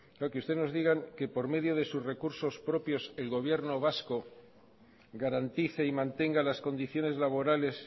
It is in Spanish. que usted nos diga que por medio de sus recursos propios el gobierno vasco garantice y mantenga las condiciones laborales